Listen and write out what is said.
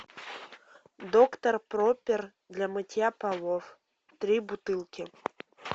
доктор проппер для мытья полов три бутылки